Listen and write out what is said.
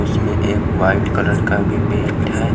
उसमे एक white colour का भी पेंट है।